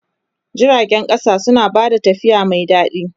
Jiragen ƙasa suna ba da tafiya mai daɗi.